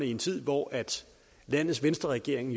i en tid hvor landets venstreregering